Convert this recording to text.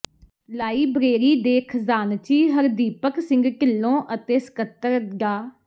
library ਦੇ ਖਜ਼ਾਨਚੀ ਹਰਦੀਪਕ ਸਿੰਘ ਢਿੱਲੋਂ ਅਤੇ ਸਕੱਤਰ ਡਾ